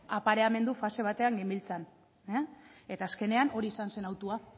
apareamendu fase batean genbiltzan eta azkenean hori izan zen hautua